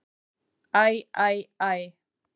Æ, æ, æ.